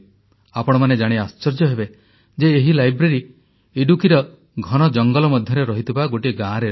ଆପଣମାନେ ଜାଣି ଆଶ୍ଚର୍ଯ୍ୟ ହେବେ ଯେ ଏହି ଲାଇବ୍ରେରୀ ଇଡୁକ୍କିର ଘନ ଜଙ୍ଗଲ ମଧ୍ୟରେ ରହିଥିବା ଗୋଟିଏ ଗାଁରେ ଅଛି